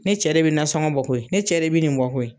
Ne cɛ de bi nansɔngɔ bɔ koyi , ne cɛ de bi nin bɔ koyi .